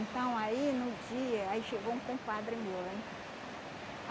Então, aí no dia, aí chegou um compadre meu lá em casa.